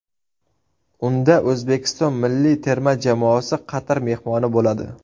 Unda O‘zbekiston milliy terma jamoasi Qatar mehmoni bo‘ladi.